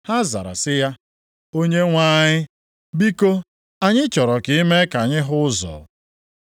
Ha zara sị ya, “Onyenwe anyị, biko, anyị chọrọ ka i mee ka anyị hụ ụzọ.”